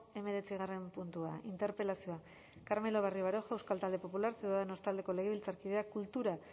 hemeretzigarren puntua interpelazioa carmelo barrio baroja euskal talde popularra ciudadanos taldeko legebiltzarkideak kultura